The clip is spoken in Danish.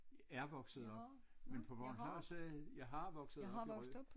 Er vokset op men på bornholmsk så er det jeg har vokset op i Rø